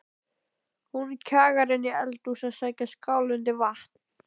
Hún kjagar inn í eldhús að sækja skál undir vatn.